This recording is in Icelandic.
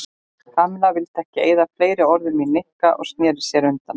Kamilla vildi ekki eyða fleiri orðum í Nikka og snéri sér undan.